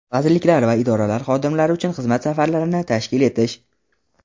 vazirliklar va idoralar xodimlari uchun xizmat safarlarini tashkil etish;.